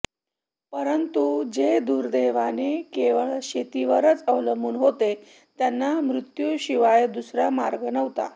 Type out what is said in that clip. परंतु जे दुर्दैवाने केवळ शेतीवरच अवलंबून होते त्यांना मृत्यूशिवाय दुसरा मार्ग नव्हता